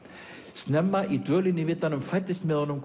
snemma í dvölinni í vitanum fæddist með honum